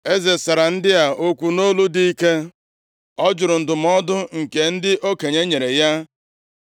Eze sara ndị a okwu nʼolu dị ike. Ọ jụrụ ndụmọdụ nke ndị okenye nyere ya,